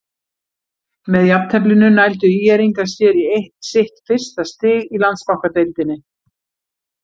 Með jafnteflinu nældu ÍR-ingar sér í sitt fyrsta stig í Landsbankadeildinni.